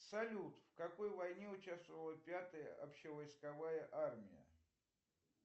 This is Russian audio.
салют в какой войне участвовала пятая общевойсковая армия